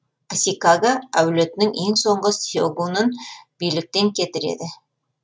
асикага әулетінің ең соңғы сегунын биліктен кетіреді